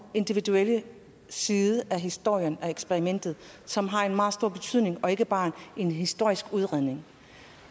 individuelle side af historien om eksperimentet som har en meget stor betydning og ikke bare en historisk udredning